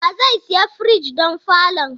Wa zai siya firij don falon?